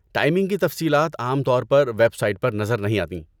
Timing کی تفصیلات عام طور پر ویب سائٹ پر نظر نہیں آتیں۔